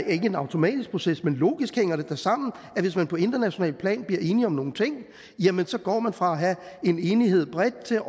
ikke en automatisk proces men logisk hænger det da sammen at hvis man på internationalt plan bliver enige om nogle ting så går man fra at have en enighed bredt til